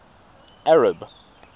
arab